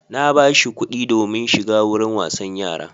Na ba shi kuɗi domin shiga wurin wasan yara.